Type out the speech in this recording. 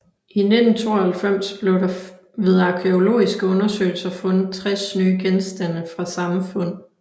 I 1992 blev der ved arkæologiske undersøgelser fundet 60 nye genstande fra samme fund